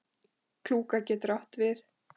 Klúka getur átt við